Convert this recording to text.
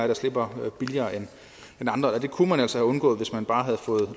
der slipper billigere end andre og det kunne man altså have undgået hvis man bare havde fået